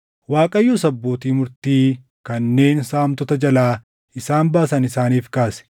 Waaqayyos abbootii murtii kanneen saamtota jalaa isaan baasan isaaniif kaase.